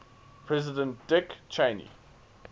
president dick cheney